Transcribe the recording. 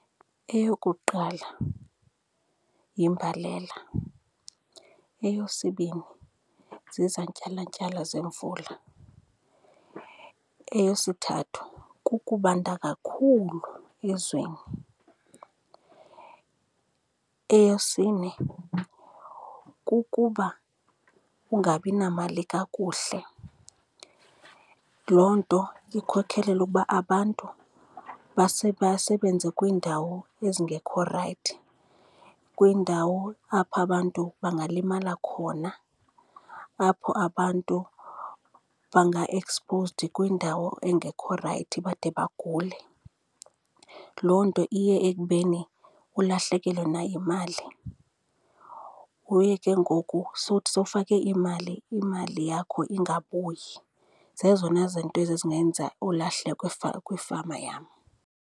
Eyokuqala yimbalela. Eyesibini, zizantyalantyala zemvula, eyesithathu kukubanda kakhulu ezweni. Eyesine, kukuba ungabi namali kakuhle, loo nto ikhokhelele ukuba abantu basebenze kwiindawo ezingekho rayithi, kwiindawo apho abantu bangalimala khona, apho abantu banga-exposed kwindawo engekho rayithi bade bagule. Loo nto iye ekubeni ulahlekelwe nayimali kuye ke ngoku uthi sowufake iimali, imali yakho ingabuyi. Zezona zinto ezo ezingenza ulahleko kwifama yam.